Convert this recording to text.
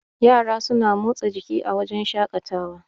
yara suna motsa jiki a wajen shaƙatawa